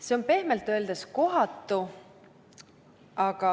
See on pehmelt öeldes kohatu.